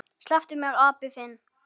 SLEPPTU MÉR, APINN ÞINN!